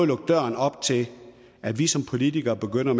lukke døren op til at vi som politikere begynder